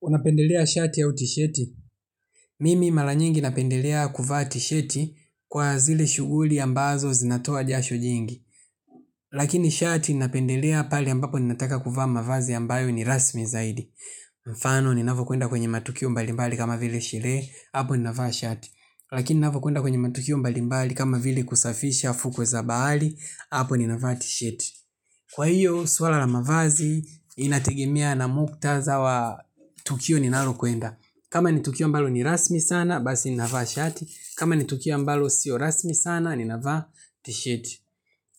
Unapendelea shati au tisheti. Mimi malanyingi napendelea kuva tisheti kwa zile shuguli ambazo zinatoa jasho jingi. Lakini shati napendelea pale ambapo ninataka kuvaa mavazi ambayo ni rasmi zaidi. Mfano ninavo kuenda kwenye matukio mbalimbali kama vile sherehe, hapo ninavo kuenda kwenye matukio mbalimbali kama vile kusafisha fukwe zabali, hapo ninavuati sheti. Kwa hiyo, swala la mavazi inategemea na muktadha wa tukio ninalo kuenda. Kama nitukia ambalo ni rasmi sana, basi ninavaa shati. Kama nitukia ambalo sio rasmi sana, ninavaa tisheti.